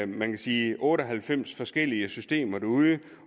man kan sige otte og halvfems forskellige systemer derude